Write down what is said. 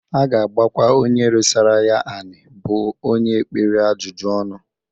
A ga-agbakwa onye resara ya anị bụ onye ekpere ajụjụ ọnụ.